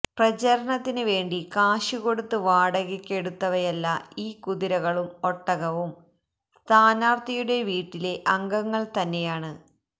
പ്രചാരണത്തിന് വേണ്ടി കാശ് കൊടുത്ത് വാടകയ്ക്ക് എടുത്തവയല്ല ഈ കുതിരകളും ഒട്ടകവും സ്ഥാനാർത്ഥിയുടെ വീട്ടിലെ അംഗങ്ങൾ തന്നെയാണ്